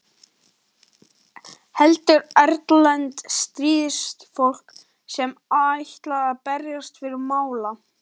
Heldur erlent stríðsfólk sem ætlar að berjast fyrir mála.